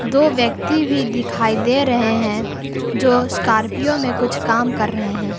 दो व्यक्ति भी दिखाई दे रहे हैं जो स्कॉर्पियो में कुछ काम कर रहे हैं।